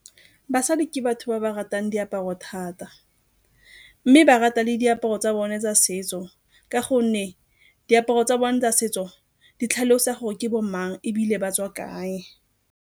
Basadi ke batho ba ba ratang diaparo thata, mme ba rata le diaparo tsa bone tsa setso ka gonne diaparo tsa bone tsa setso di tlhalosa gore ke bo mang ebile ba tswa kae.